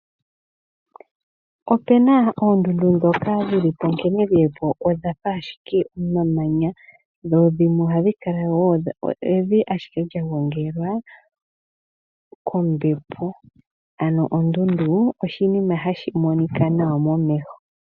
Opena oondundu dhoka dhi li po nkene dhi li po odha fa ashike omamanya, dho dhimwe ohadhi kala evi ashike lya gongelwa kombepo. Ano ondundu oshinima hashi monika nawa momeho.